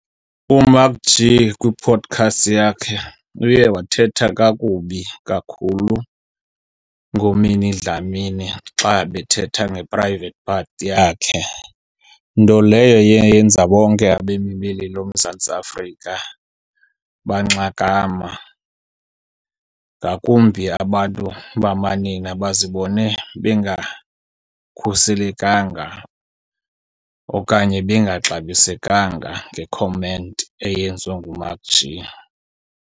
UMacG kwi-podcast yakhe uye wathetha kakubi kakhulu ngoMinnie Dlamini xa ebethetha nge-private part yakhe. Nto leyo eye yenza bonke abemi beli loMzantsi Afrika banxakama ngakumbi abantu bamanina bazibone bengakhuselekanga okanye bengaxabisekanga ngekhomenti eyenziwa nguMacG.